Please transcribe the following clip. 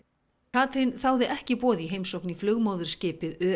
Katrín þáði ekki boð í heimsókn í flugmóðurskipið